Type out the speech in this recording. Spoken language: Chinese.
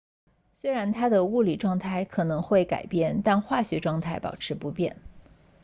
虽然它的物理状态可能会改变但化学状态保持不变